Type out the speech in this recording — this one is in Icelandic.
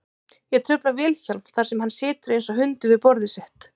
Ég trufla Vilhjálm þar sem hann situr einsog hundur við borðið sitt.